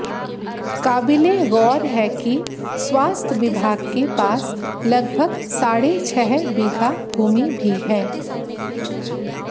काबिले गौर है कि स्वास्थ्य विभाग के पास लगभग साढ़े छह बीघा भूमि भी है